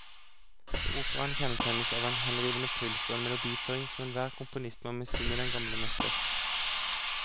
Operaen kjennetegnes av en henrivende puls og en melodiføring som enhver komponist må misunne den gamle mester.